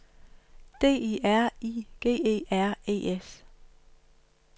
D I R I G E R E S